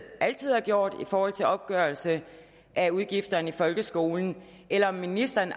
altid har gjort i forhold til opgørelse af udgifterne i folkeskolen eller om ministeren